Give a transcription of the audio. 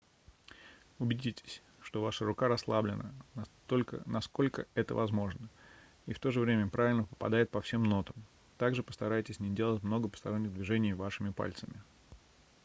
убедитесь что ваша рука расслаблена насколько это возможно и в то же время правильно попадает по всем нотам также постарайтесь не делать много посторонних движений вашими пальцами